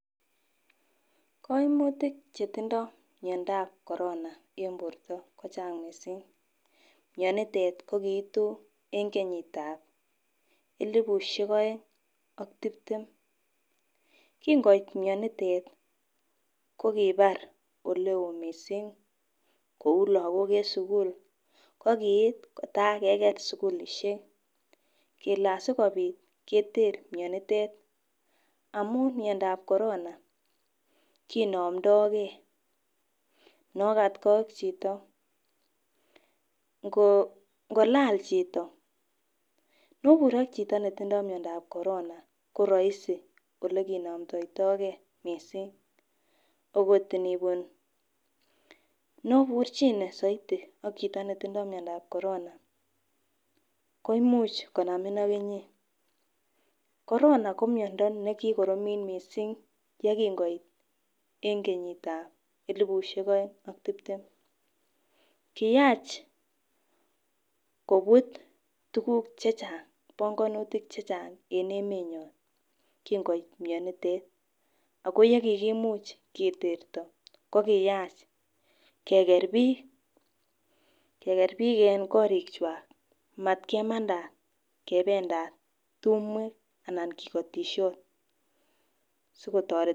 Koimutik chetindo miondap korona en borto ko Chang. Missing mionitet ko koitu en kenyitab elibushek oeng ak tiptem. Kin koit mionitet ko kobar oleo missing kou lokok en sukul ko kiit kotakeker sukul ishek kele asikopit keter mionitet amun miondap korona konomdogee nokatgee at chito, ngolal chito. Nobur ak chito netindo miondap korona ko roisi ole kinomdoitogee missing okot inibun , noburchine soiti a chito netindo miondap korona koimuch konamin aK inyee. Korona ko miondo nekikoromit miissing yekin koit en kenyitab elibushek oeng ak tiptem. Kiyach kobur tukuk chechang bongonutik chechang en emenyon kin koit mionitet, ako yekikimuch keterto ko kiyach Keker bik Keker bik en korik kwak matkemandat kependat tumwek ana kikotishot sikotoret.